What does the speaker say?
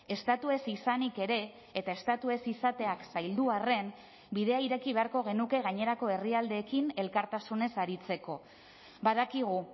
estatu ez izanik ere eta estatu ez izateak zaildu arren bidea ireki beharko genuke gainerako herrialdeekin elkartasunez aritzeko badakigu